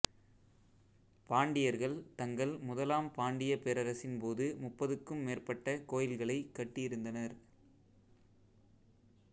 பாண்டியர்கள் தங்கள் முதலாம் பாண்டியப் பேரரசின் போது முப்பதுக்கும் மேற்பட்ட கோயில்களை கட்டி இருந்தனர்